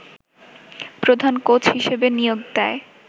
প্রধান কোচ হিসেবে নিয়োগ দেয়